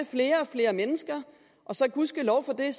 flere og flere mennesker og så gudskelov for det